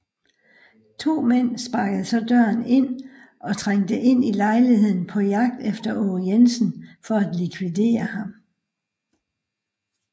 To mænd sparkede så døren ind og trængte ind i lejligheden på jagt efter Aage Jensen for at likvidere ham